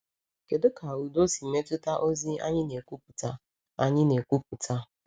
Kedu ka udo si metụta ozi anyị na-ekwupụta? anyị na-ekwupụta?